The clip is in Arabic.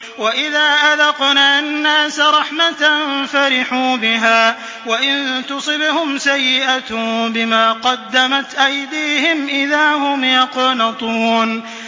وَإِذَا أَذَقْنَا النَّاسَ رَحْمَةً فَرِحُوا بِهَا ۖ وَإِن تُصِبْهُمْ سَيِّئَةٌ بِمَا قَدَّمَتْ أَيْدِيهِمْ إِذَا هُمْ يَقْنَطُونَ